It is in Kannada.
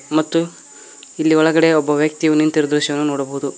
ಮತ್ತು ಇಲ್ಲಿ ಒಳಗಡೆ ಒಬ್ಬ ವ್ಯಕ್ತಿಯು ನಿಂತಿರುವ ದೃಶ್ಯವನ್ನ ನೋಡಬಹುದು.